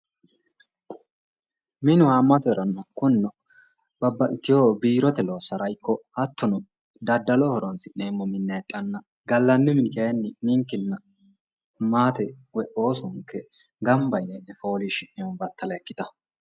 Minu haamattare kunino babbaxitino biirote loosara ikko hattono daddaloho horonsi'neemmo minna heedhanna gallanni mini kayinni ninkenna maatenke woyi oosonke gamba yinne e'ne foolishi'neemmo battala ikkitano